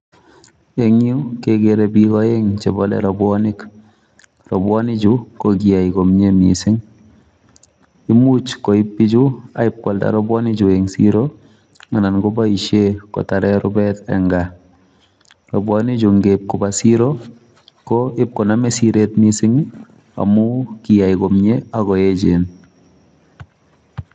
Ing' yu kegere biik aeng' chebale rabwanik. rabwanikchu kokiyai komyie mising' imuch koib bichu akipkwalda rabwanikchu ing' siro anan koboisie kotare rubet ing' gaa. rabwanikchu ngeip koba siro, ko ipkoname siret miising' amu kiyai komyie akoechen.